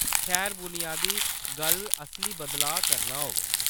खैर, बुनियादी गल्ल असली बदलाऽ करना होग।